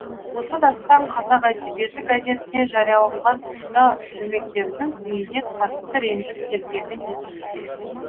осы дастан қазақ әдебиеті газетіне жарияланған тұста жұмекеннің үйіне қатты ренжіп келгені есімде